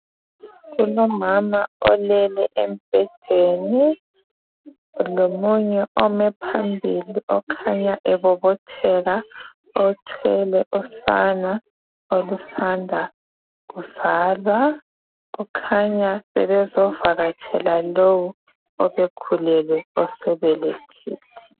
Kulomama olele embhedeni lomunye ome phambili okhanya ebobotheka othwele usana olusanda kuzalwa okukhanya bebezovakatshele lo obekhulelwe osebelethile.